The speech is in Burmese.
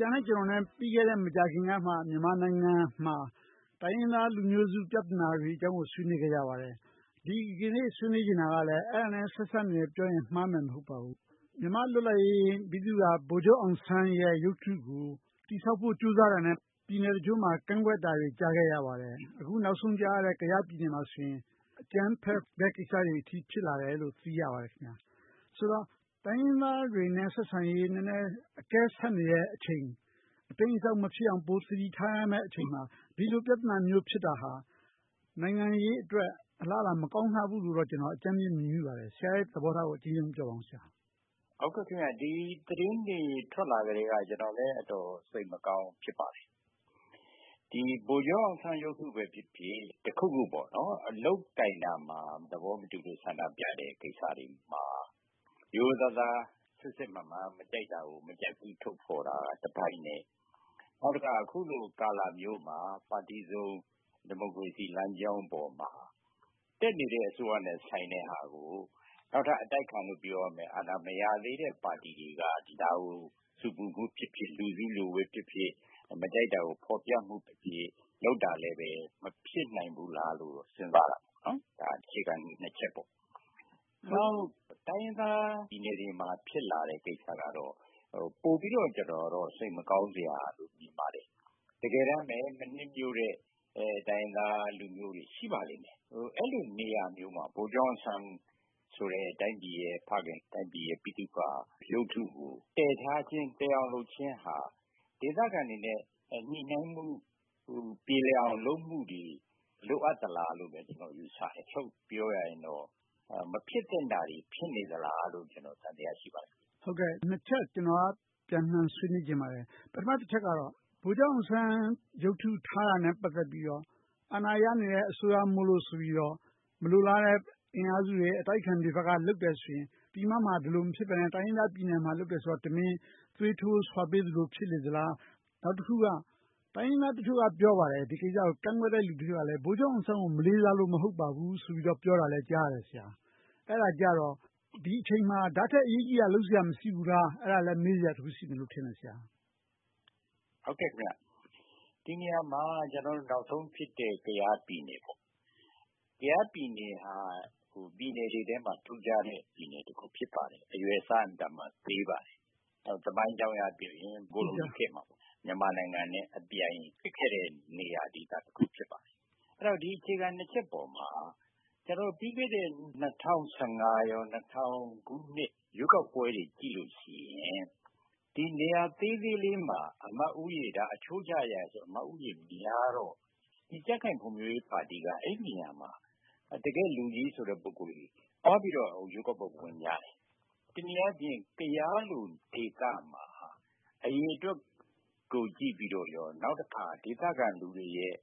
ရာနဲ့ကျနော် မကြာသေးခင်ကမှ မြန်မာနိုင်ငံမှာ တိုင်းရင်းသားလူမျိုးစု ပြဿနာတွေအကြောင်းကို ဆွေးနွေးခဲ့ကြပါတယ်။ ဒီကနေ့ ဆွေးနွေးချင်တဲ့အကြောင်းအရာကလည်း အဲဒါနဲ့ ဆက်စပ်နေတယ်လို့ပြောရင် မှားမယ်မဟုတ်ပါဘူး။ မြန်မာ့လွတ်လပ်ရေးဗိသုကာ ဗိုလ်ချုပ်အောင်ဆန်းရဲ့ရုပ်ထုကို တည်ဆောက်ဖို့ ကြိုးစားတာနဲ့ ပြည်နယ်တချို့မှာ ကန့်ကွက်တာတွေ ကြားခဲ့ရပါတယ်။ အခုနောက်ဆုံးကြားရတဲ့ ကယားပြည်နယ်မှာဆိုရင် အကြမ်းဖက်တဲ့အထိ ဖြစ်လာတယ်လို့ ကြားသိရပါတယ်။ ဆိုတော့ တိုင်းရင်းသားတွေနဲ့ ဆက်ဆံရေး အကဲဆတ်နေတဲ့အချိန် အတိမ်းအစောင်း မဖြစ်အောင် ပိုသတိထားရမယ့်အချိန်မှာ ဒီလိုပြဿနာမျိုး ဖြစ်တာဟာ နိုင်ငံရေးအတွက် အလားအလာ မကောင်းလှဘူးလို့ ကျနော် အကြမ်းမျဉ်း မြင်မိပါတယ်။ ဆရာရဲ့ သဘောထားကို အကျဉ်းရုံးပြောပါ။ ဒီသတင်းတွေထွက်လာကတည်းက ကျနော်လည်း အတော်စိတ်မကောင်း ဖြစ်ပါတယ်။ ဗိုလ်ချုပ်အောင်ဆန်းရုပ်ထုပဲဖြစ်ဖြစ်၊ တခုခု လုပ်ကိုင်ရာမှာ သဘောမတူလို့ ဆန္ဒပြတဲ့ကိစ္စတွေမှာ ရိုးရိုးသားသား စစ်စစ်မှန်မှန် မကြိုက်တာကို မကြိုက်ဘူးလို့ ထုတ်ဖော်တာတပိုင်းနဲ့ နောက်တခါ အခုလိုကာလမျိုးမှာ ပါတီစုံဒီမိုကရေစီလမ်းကြောင်းပေါ်မှာ တက်နေတဲ့ အစိုးရနဲ့ဆိုင်တဲ့ဟာကို နောက်ထပ်အတိုက်ခံလို့ ပြောရမယ့် အာဏာမရသေးတဲ့ပါတီတွေက ဒါကို ဆူပူမှုဖြစ်ဖြစ်၊ လူစုလူဝေးနဲ့ဖြစ်ဖြစ် မကြိုက်တာကို ဖော်ပြမှုတွေနဲ့ လုပ်တာလဲ မဖြစ်နိုင်ဘူးလားလို့ စဉ်းစားမိတယ်။ ဒါက အခြေခံကြီးနှစ်ချက်ပေါ့။ တိုင်းရင်းသားပြည်နယ်တွေမှာ ဖြစ်လာတဲ့ကိစ္စကတော့ ပိုပြီးတော့ စိတ်မကောင်းစရာလို့ မြင်ပါတယ်။ တကယ်တမ်းပဲ မနှစ်မြိုတဲ့ တိုင်းရင်းသားလူမျိုးတွေ ရှိပါလိမ့်မယ်။ အဲဒီလိုနေရာမျိုးမှာ ဗိုလ်ချုပ်အောင်ဆန်းလို တိုင်းပြည်ရဲ့ဖခင်၊ တိုင်းပြည်ရဲ့ ဗိသုကာရုပ်ထုကို တည်ထားခြင်း၊ တည်အောင်လုပ်ခြင်းဟာ ဒေသခံတွေနဲ့ ညှိနှိုင်းမှု၊ ပြေလည်အောင်လုပ်မှုတွေ လိုအပ်သလားလို့ ကျနော်ယူဆတယ်။ ချုပ်ပြောရရင်တော့ မဖြစ်သင့်တာတွေ ဖြစ်နေသလားလို့ ကျနော် သံသယ ရှိနေပါတယ်။ နှစ်ချက် ကျနော်က ပြန်လှန်ဆွေးနွေးလိုပါတယ်။ ပထမတချက်ကတော့ ဗိုလ်ချုပ်အောင်ဆန်း ရုပ်ထုထားတာနဲ့ ပတ်သက်ပြီးတော့ အာဏာရနေတဲ့ အစိုးရမို့လို့ဆိုပြီးတော့ မလိုလားတဲ့ အင်အားစုတွေ၊ အတိုက်အခံတွေဘက်က လုပ်တယ်ဆိုရင်၊ ပြည်မမှာ ဒီလိုမဖြစ်ဘဲနဲ့ တိုင်းရင်းသားပြည်နယ်မှာ လုပ်တယ်ဆိုတော့ တမင်သွေးထိုးဆွပေးသလို ဖြစ်နေသလား။ နောက်တခုက တိုင်းရင်းသားတချို့က ပြောပါတယ် ဒီကိစ္စကို ကန့်ကွက်တဲ့လူတချို့က ဗိုလ်ချုပ်အောင်ဆန်းကို မလေးစားလို့ မဟုတ်ပါဘူးလို့ ပြောတာကိုလည်း ကြားရပါတယ်။ အဲဒါကြတော့ ဒီအချိန်မှာ ဒါထက်အရေးကြီးတာ လုပ်စရာ မရှိဘူးလား။ အဲဒါလဲ မေးစရာတခု ရှိတယ်လို့ထင်တယ်။ ဒီနေရာမှာ နောက်ဆုံးဖြစ်တဲ့ ကယားပြည်နယ်ကိုကြည့်ရင် ကယားပြည်နယ်က ပြည်နယ်တွေထဲမှာ ထူးခြားတဲ့ ပြည်နယ်တခု ဖြစ်ပါတယ်။ အရွယ်အစား အင်မတန်မှ သေးပါတယ်။ သမိုင်းအကြောင်းအရပြောရင် ကိုလိုနီခေတ်မှာ မြန်မာနိုင်ငံနဲ့အပြိုင် ဖြစ်ခဲ့တဲ့နေရာဒေသတခု ဖြစ်ပါတယ်။ ဒီအခြေခံနှစ်ချက်ပေါ်မှာ ပြီးခဲ့တဲ့ ၂၀၁၅ နဲ့ ၂၀၀၀ ခုနှစ် ရွေးကောက်ပွဲတွေကိုကြည့်ရင် ဒီနေရာသေးသေးလေးမှာ အချိုးကျရဆိုရင် အမတ်ဦးရေများတော့ ကြံ့ခိုင်ဖွံ့ဖြိုးရေးပါတီက အဲဒီနေရာမှာ တကယ့်လူကြီးဆိုတဲ့ ပုဂ္ဂိုလ်တွေ သွားပြီးတော့ ရွေးကောက်ပွဲဝင်ကြတယ်။ တနည်းအားဖြင့် ကယားလို့ဒေသမှာ အရေအတွက်ကိုကြည့်ပြီးတော့ကော၊ နောက်တခါ ဒေသခံလူတွေရဲ့